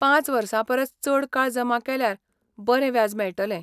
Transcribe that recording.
पांच वर्सां परस चड काळ जमा केल्यार बरें व्याज मेळटलें.